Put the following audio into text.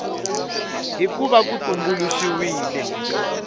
hi ku va ku tumbuluxiwile